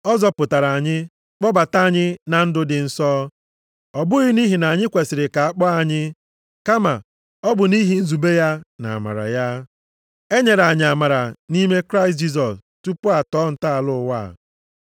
Ọ zọpụtara anyị, kpọbata anyị na ndụ dị nsọ. Ọ bụghị nʼihi na anyị kwesiri ka a kpọọ anyị, kama, ọ bụ nʼihi nzube ya na amara ya. E nyere anyị amara nʼime Kraịst Jisọs tupu a tọọ ntọala ụwa a.